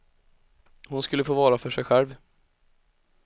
Hon skulle få vara för sig själv.